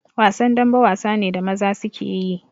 Wasan dambe wasa ne da maza suke yi